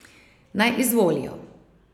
Naj izvolijo.